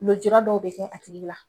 Lujura dɔw bi kɛ a tigi la